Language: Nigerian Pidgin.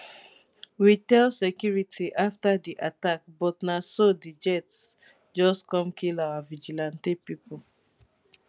we tell security afta di attack but na so di jet just come kill our vigilante pipo